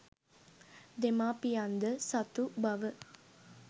දෙමාපියන්ද සතු බව